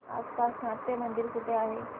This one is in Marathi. आसपास नाट्यमंदिर कुठे आहे